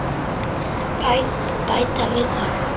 Bæta við það.